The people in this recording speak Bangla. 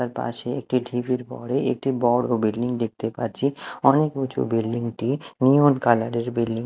তার পাশে একটি ঢিবির বরে একটি বড়ো বিল্ডিং দেখতে পাচ্ছি অনেক উঁচু বিল্ডিং -টি নিয়ন কালার -এর বিল্ডিং ।